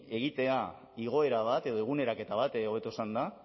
egitea igoera bat edo eguneraketa bat hobeto esanda